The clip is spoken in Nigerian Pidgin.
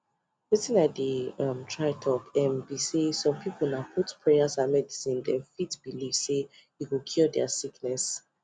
wetin i dey um try talk um be say some people na both prayers and medicine them belief say e go cure their sickness